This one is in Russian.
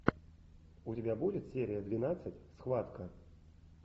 у тебя будет серия двенадцать схватка